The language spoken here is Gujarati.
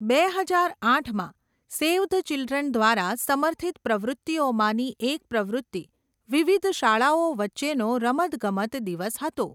બે હજાર આઠમાં, સેવ ધ ચિલ્ડ્રન દ્વારા સમર્થિત પ્રવૃત્તિઓમાંની એક પ્રવૃત્તિ વિવિધ શાળાઓ વચ્ચેનો રમતગમત દિવસ હતો.